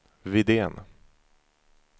Widén